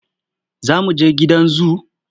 Za mu je gidan zu.